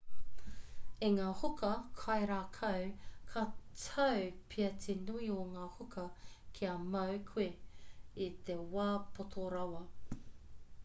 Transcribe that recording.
i ngā huka kairākau ka tau pea te nui o ngā huka kia mau koe i te wā poto rawa